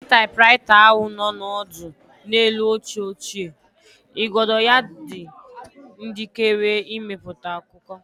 Ụdị typewriter ahụ nọ ọdụ n'elu oche ochie, igodo ya dị njikere ịmepụta akụkọ.